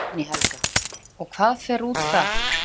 Guðný Helga: Og hvað fer út þar?